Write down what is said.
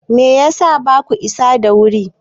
Me ya sa baku isa da wuri ba?